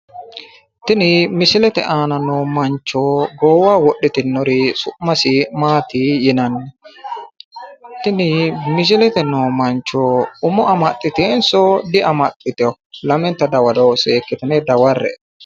Tin misilete aana noo mancho goowaho wodhitinor su'mas maat yinanni? Tini mislete aana noo mancho umo amaxxitewonso diamaxitewo?